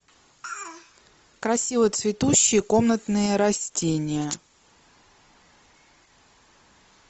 красиво цветущие комнатные растения